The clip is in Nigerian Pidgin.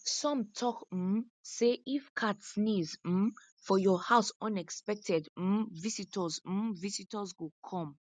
some tok um say if cat sneeze um for your house unexpected um visitors um visitors go come